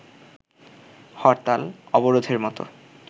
হরতাল, অবরোধের মতো